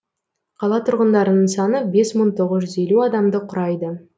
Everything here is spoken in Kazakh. қала тұрғындарының саны бес мың тоғыз жүз елу адамды құрайды